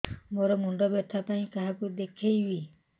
ମୋର ମୁଣ୍ଡ ବ୍ୟଥା ପାଇଁ କାହାକୁ ଦେଖେଇବି